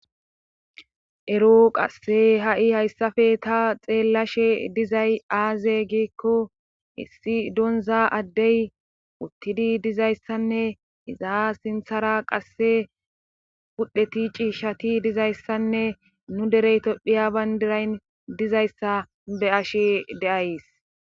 Ero qasse ha'i hayssafe ta xeellashe dizay aaze giikko hissi donza addey uttidi dizayssanne iza sinthara qasse pudheti cii shati dizayssanne nu dereyto phiya bayndirayn dizayssa be7ashe de7ays